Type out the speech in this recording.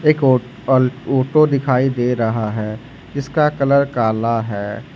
एक आ अल ऑटो दिखाई दे रहा है जिसका कलर काला है।